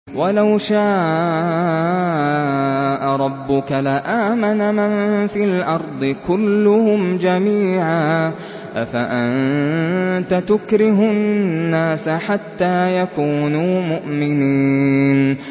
وَلَوْ شَاءَ رَبُّكَ لَآمَنَ مَن فِي الْأَرْضِ كُلُّهُمْ جَمِيعًا ۚ أَفَأَنتَ تُكْرِهُ النَّاسَ حَتَّىٰ يَكُونُوا مُؤْمِنِينَ